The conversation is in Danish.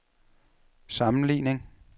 sammenligning